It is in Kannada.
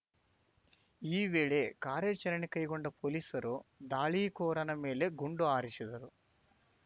ಈ ವೇಳೆ ಕಾರ್ಯಾಚರಣೆ ಕೈಗೊಂಡ ಪೊಲೀಸರು ದಾಳಿಕೋರನ ಮೇಲೆ ಗುಂಡು ಹಾರಿಸಿದರು